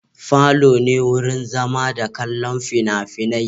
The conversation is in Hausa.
Falo ne wurin zama da kallon fina-finai.